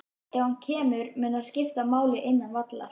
Ef hann kemur, mun það skipta máli innan vallar?